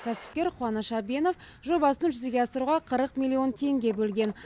кәсіпкер қуаныш әбенов жобасын жүзеге асыруға қырық миллион теңге бөлген